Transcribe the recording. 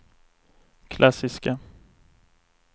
klassiska